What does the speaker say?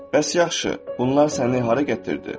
Bəs yaxşı, bunlar səni hara gətirdi?